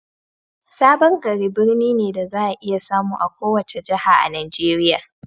Sabon Gari birni ne da za a iya samu a kowace jiha a Nigeriya.